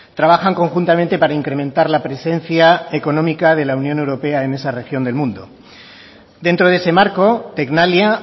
trabajan conjuntamente para incrementar la presencia económica de la unión europea en esa región del mundo dentro de ese marco tecnalia